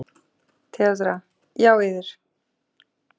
THEODÓRA: Já, yður.